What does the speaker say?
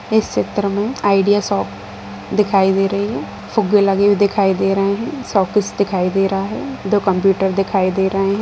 इस चित्र मे आइडिया शॉप दिखाई दे रही है | फुग्गे लगे लगे हुए दिखाई दे रहे हैं | शोकेस दिखाई दे रहा है | दो कंप्यूटर दिखाई दे रहे हैं।